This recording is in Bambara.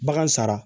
Bagan sara